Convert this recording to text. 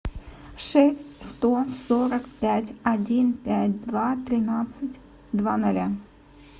шесть сто сорок пять один пять два тринадцать два ноля